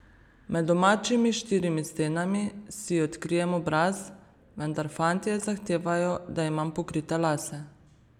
Med domačimi štirimi stenami si odkrijem obraz, vendar fantje zahtevajo, da imam pokrite lase.